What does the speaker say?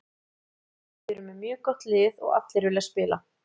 Við erum með mjög gott lið og allir vilja spila.